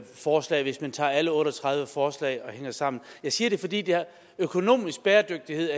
forslag hvis man tager alle otte og tredive forslag sammen jeg siger det fordi økonomisk bæredygtighed